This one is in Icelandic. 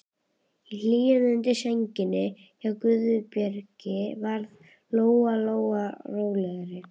Í hlýjunni undir sænginni hjá Guðbergi varð Lóa Lóa rólegri.